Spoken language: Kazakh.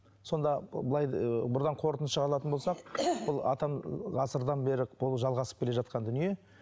сонда былай ыыы қорытынды шығаратын болсақ бұл атам ы ғасырдан бері бұл жалғасып келе жатқан дүние